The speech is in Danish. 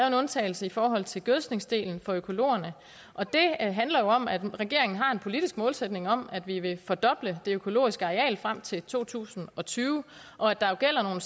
en undtagelse i forhold til gødskningsdelen for økologerne og det handler om at regeringen har en politisk målsætning om at vi vil fordoble det økologiske areal frem til to tusind og tyve og at der jo gælder nogle